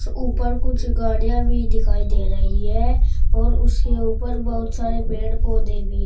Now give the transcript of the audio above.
ऊपर कुछ गाड़ियां भी दिखाई दे रही है और उसके ऊपर बहुत सारे पेड़ पौधे भी है।